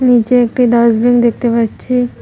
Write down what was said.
নিচে একটি ডাস্টবিন দেখতে পাচ্ছি।